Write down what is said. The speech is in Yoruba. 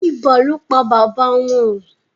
ibà ló pá baba wón.